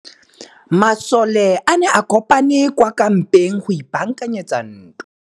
Masole a ne a kopane kwa kampeng go ipaakanyetsa ntwa.